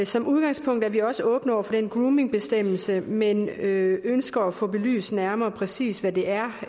som udgangspunkt er vi også åbne over for den groomingbestemmelse men ønsker at få belyst nærmere præcis hvad det er